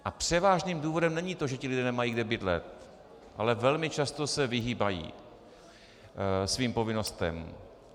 A převážným důvodem není to, že ti lidé nemají kde bydlet, ale velmi často se vyhýbají svým povinnostem.